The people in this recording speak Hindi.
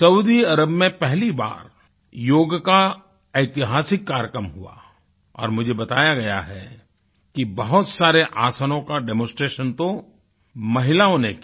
सऊदी अरब में पहली बार योग का ऐतिहासिक कार्यक्रम हुआ और मुझे बताया गया है कि बहुत सारे आसनों का डेमोंस्ट्रेशन तो महिलाओं ने किया